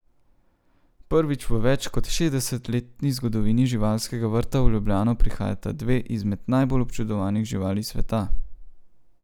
Prvič v več kot šestdesetletni zgodovini živalskega vrta v Ljubljano prihajata dve izmed najbolj občudovanih živali sveta.